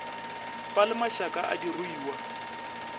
ba le mašaka a diruiwa